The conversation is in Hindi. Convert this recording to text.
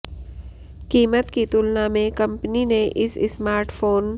कीमत की तुलना में कंपनी ने इस स्मार्टफोन